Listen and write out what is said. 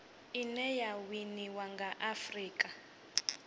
ine ya winiwa nga afurika